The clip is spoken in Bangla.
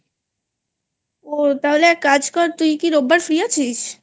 তাহলে একটা কাজ কর তুই কি রোববার Freeআছিস?